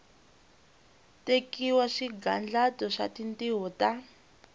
tekiwa swigandlato swa tintiho ta